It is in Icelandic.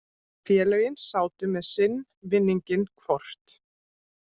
Félögin sátu með sinn vinninginn hvort.